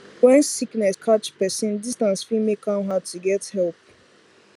when sickness catch person distance fit make am hard to get help